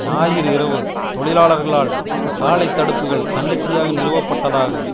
ஞாயிறு இரவு தொழிலாளர்களால் சாலை தடுப்புக்கள் தன்னிச்சையாக நிறுவப்பட்டதாகவும்